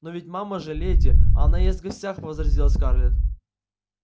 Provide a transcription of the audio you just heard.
но ведь мама же леди а она ест в гостях возразила скарлетт